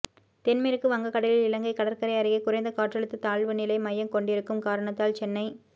தென் மேற்கு வங்கக் கடலில் இலங்கை கடற்கரை அருகே குறைந்த காற்றழுத்த தாழ்வு நிலை மையம்கொண்டிருக்கும் காரணத்தால் சென்னை